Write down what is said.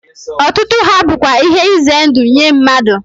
Otutu ha bukwa ihe ize ndu nye mmadu